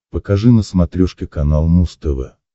покажи на смотрешке канал муз тв